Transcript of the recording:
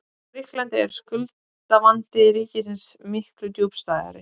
Í Grikklandi er skuldavandi ríkisins miklu djúpstæðari.